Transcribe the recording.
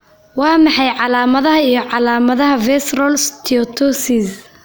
Waa maxay calamadaha iyo calamadaha Visceral steatosis?